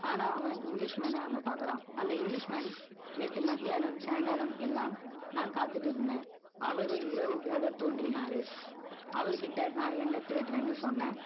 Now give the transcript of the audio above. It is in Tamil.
ஆனா, அவன் English man அ அங்க பாக்குறான். அந்த English man நேத்து மத்தியானம், சாயங்காலம் எல்லாம், நான் காத்துட்டு இருந்தேன். அவரு இரவு போல தோன்றினாரு